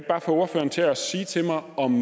bare få ordføreren til at sige til mig om